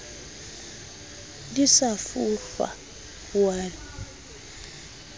di sa fohlwa o a